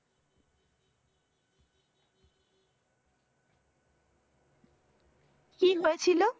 কি হয়েছিল?